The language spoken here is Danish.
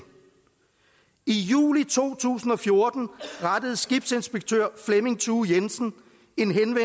i juli to tusind og fjorten rettede skibsinspektør flemming thue jensen